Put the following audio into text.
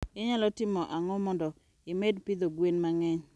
Inyalo timo ang'o mondo imed pidho gwen mang'eny?